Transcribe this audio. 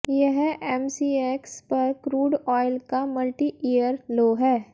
यह एमसीएक्स पर crude oil का मल्टी ईयर लो है